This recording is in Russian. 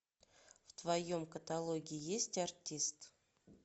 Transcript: в твоем каталоге есть артист